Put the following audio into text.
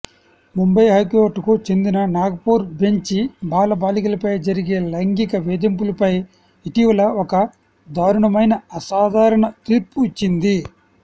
ముంబై హైకోర్టుకు చెందిన నాగపూర్ బెంచి బాలబాలికలపై జరిగే లైంగిక వేధింపులపై ఇటీవల ఒక దారుణమైన అసాధారణ తీర్పు ఇచ్చింది